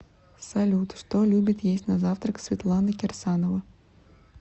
салют что любит есть на завтрак светлана кирсанова